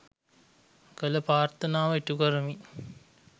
කළ ප්‍රාර්ථනාව ඉටුකරමින්